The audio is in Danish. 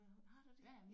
Har der det?